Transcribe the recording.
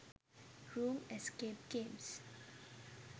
room escape games